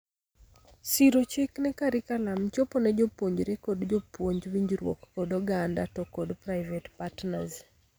Siro chik ne carriculum, chopo ne jopuonjre kod jopuonj, winjruok kod oganda to kod private partners.